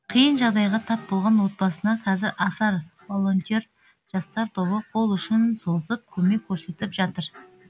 қиын жағдайға тап болған отбасына қазір асар волонтер жастар тобы қол ұшын созып көмек көрсетіп жатыр